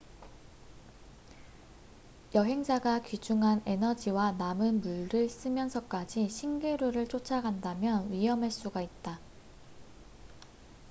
여행자가 귀중한 에너지와 남은 물을 쓰면서까지 신기루를 쫒아간다면 위험할 수가 있다